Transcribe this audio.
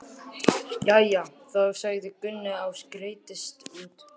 Jæja þá, sagði Gunni og skreiddist út.